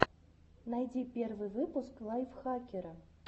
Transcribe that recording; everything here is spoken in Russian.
найди первый выпуск лайфхакера